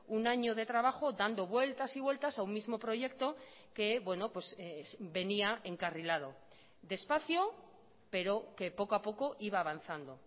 un año de trabajo dando vueltas y vueltas a un mismo proyecto que venía encarrilado despacio pero que poco a poco iba avanzando